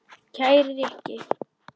Kæri Rikki.